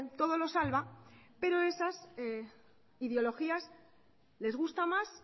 todo lo salva pero esas ideologías les gusta más